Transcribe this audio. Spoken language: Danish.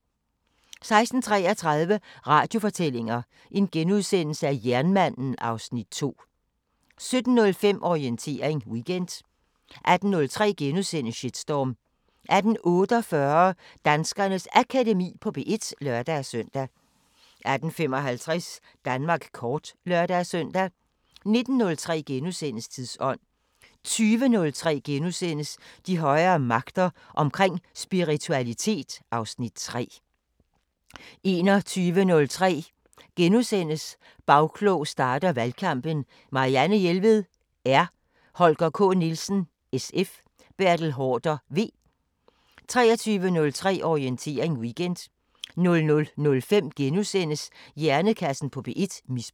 16:33: Radiofortællinger: Jernmanden (Afs. 2)* 17:05: Orientering Weekend 18:03: Shitstorm * 18:48: Danskernes Akademi på P1 (lør-søn) 18:55: Danmark kort (lør-søn) 19:03: Tidsånd * 20:03: De højere magter: Omkring spiritualitet (Afs. 3)* 21:03: Bagklog starter valgkampen: Marianne Jelved (R), Holger K. Nielsen (SF), Bertel Haarder (V) * 23:03: Orientering Weekend 00:05: Hjernekassen på P1: Misbrug *